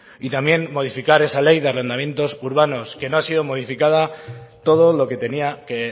y también modificar esa ley de arrendamientos urbanos que no ha sido modificada todo lo que tenía que